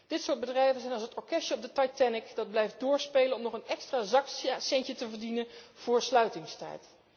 Dit soort bedrijven is als het orkestje op de Titanic dat blijft doorspelen om nog een extra zakcentje te verdienen voor sluitingstijd.